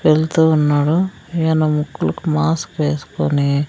వెళ్తూ ఉన్నాడు ఈయన ముక్కలకు మాస్క్ వెస్కొని--